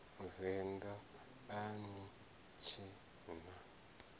venḓa a ni tshee na